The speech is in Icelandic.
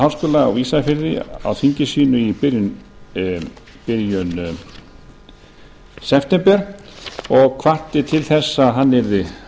á ísafirði á þingi sínu í byrjun september og hvatti til þess að hann yrði